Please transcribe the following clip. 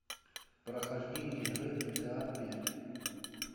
прохождение игры гта пять